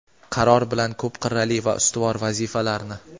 Qaror bilan ko‘p qirrali va ustuvor vazifalarni –.